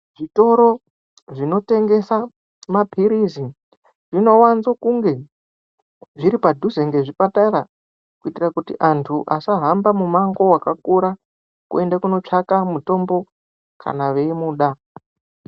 Zvitoro zvinotengesa mapirizi zvinowanza kunge zviri padhuze nezvipatara kuitira kuti antu asahamba mumango wakakura kuenda kundotsvaka mutombo kana veimuda.